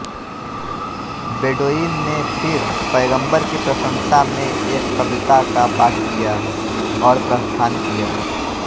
Bedouin ने फिर पैगंबर की प्रशंसा में एक कविता का पाठ किया और प्रस्थान किया